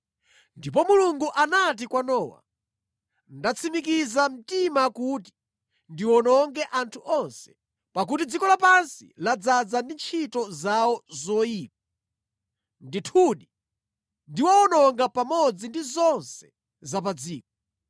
Ndipo Mulungu anati kwa Nowa, “Ndatsimikiza mtima kuti ndiwononge anthu onse, pakuti dziko lapansi ladzaza ndi ntchito zawo zoyipa. Ndithudi ndiwawononga pamodzi ndi zonse za pa dziko.